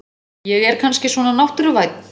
Ég er kannski svona náttúruvænn.